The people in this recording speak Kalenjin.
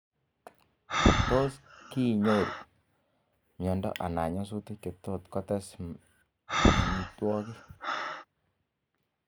Tos kiinyoru miando ana nyasutik che tos kotes mwaninotok?